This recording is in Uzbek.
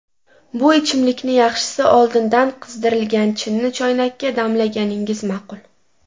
Bu ichimlikni yaxshisi oldindan qizdirilgan chinni choynakka damlaganingiz ma’qul.